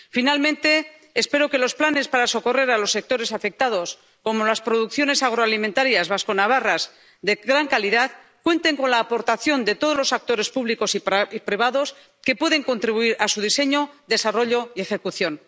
Finalmente, espero que los planes para socorrer a los sectores afectados, como las producciones agroalimentarias vasconavarras de gran calidad, cuenten con la aportación de todos los actores públicos y privados que pueden contribuir a su diseño, desarrollo y ejecución.